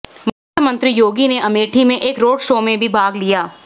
मुख्यमंत्री योगी ने अमेठी में एक रोड शो में भी भाग लिया